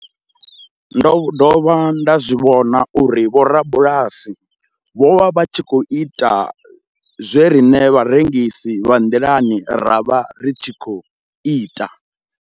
Ndo dovha nda zwi vhona uri vhorabulasi vho vha vha tshi khou ita zwe riṋe vharengisi vha nḓilani ra vha ri tshi khou ita.